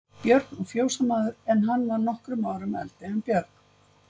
Björn og fjósamaður, en hann var nokkrum árum eldri en Björn.